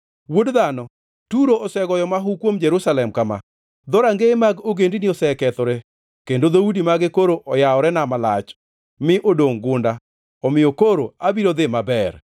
“Wuod dhano, Turo ogoyo mahu kuom Jerusalem kama: Dhorangeye mag ogendini osekethore, kendo dhoudi mage koro oyaworena malach; mi odongʼ gunda, omiyo koro abiro dhi maber.